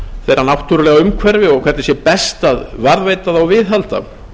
þeirra náttúrulega umhverfi og hvernig best sé að varðveita það og viðhalda